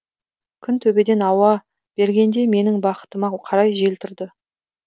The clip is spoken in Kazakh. күн төбеден ауа бергенде менің бақытыма қарай жел тұрды